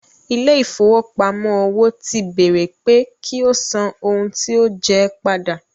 Ilé ìfowópamọ́ òwò ti béèrè pé kí ó san ohun tí ó jẹ ẹ́ padà.